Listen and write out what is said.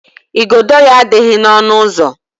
igodo ya adịghị n'ọnụ ụzọ.